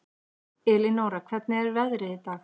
Elinóra, hvernig er veðrið í dag?